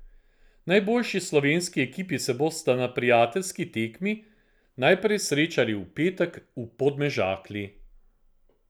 Najboljši slovenski ekipi se bosta na prijateljski tekmi najprej srečali v petek v Podmežakli.